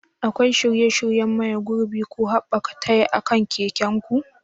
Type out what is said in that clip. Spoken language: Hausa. Akwai shirye-shiryen maye gurbin ko haɓaka taya akan keken ku?